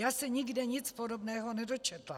Já se nikde nic podobného nedočetla.